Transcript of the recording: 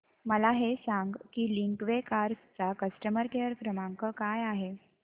मला हे सांग की लिंकवे कार्स चा कस्टमर केअर क्रमांक काय आहे